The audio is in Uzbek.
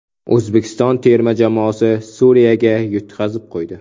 O‘zbekiston terma jamoasi Suriyaga yutqazib qo‘ydi.